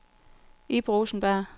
Ib Rosenberg